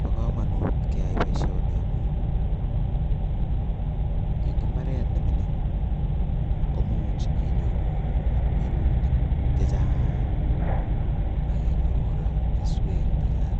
Bo komonut kechai boishoni en kokwenyun, eng imbaret nemingin imuche inyoru kesuutik chechang ak inyoru kora keswek chechang,